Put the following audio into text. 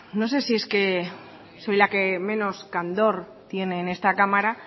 no sé si es que soy la que menos candor tiene en esta cámara